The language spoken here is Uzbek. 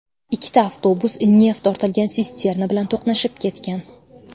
Ikkita avtobus neft ortilgan sisterna bilan to‘qnashib ketgan.